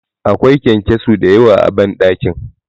Akwai ƙyanƙyaso da yawa a banɗakin